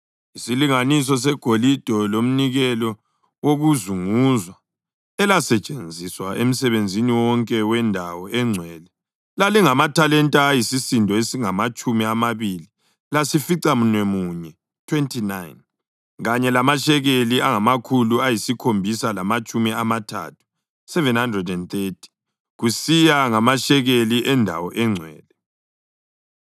Isilinganiso segolide lonke lomnikelo wokuzunguzwa elasetshenziswa emsebenzini wonke wendawo engcwele lalingamathalenta ayisisindo esingamatshumi amabili lasificamunwemunye (29) kanye lamashekeli angamakhulu ayisikhombisa lamatshumi amathathu (730) kusiya ngamashekeli endawo engcwele.